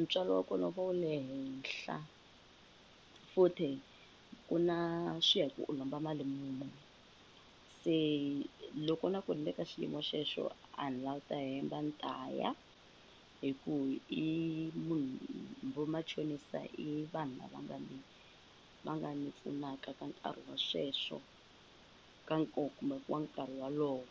ntswalo wa kona wu va wu le henhla futhi ku na swi ya hi ku u lomba mali munhu, se loko na ku ni le ka xiyimo xexo a ni lavi ku ta hemba a ni ta ya hi ku i munhu vo machonisa i vanhu lava nga ni va nga ni pfunaka ka nkarhi wa sweswo ka nkoka kumbe ku wa nkarhi wolowo.